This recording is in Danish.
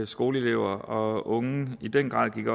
skoleelever og unge i den grad gik